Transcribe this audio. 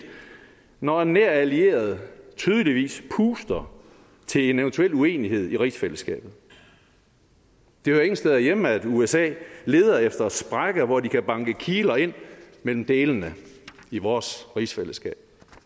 når en nær allieret tydeligvis puster til en eventuel uenighed i rigsfællesskabet det hører ingen steder hjemme at usa leder efter sprækker hvor de kan banke kiler ind mellem delene i vores rigsfællesskab